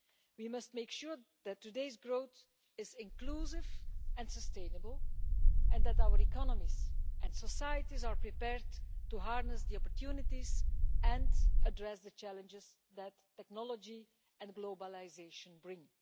We must make sure that today's growth is inclusive and sustainable and that our economies and societies are prepared to harness the opportunities and address the challenges that technology and globalisation bring.